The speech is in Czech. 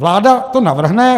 Vláda to navrhne.